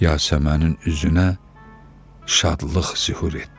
Yasəmənin üzünə şadlıq zühur etdi.